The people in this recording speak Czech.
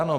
Ano.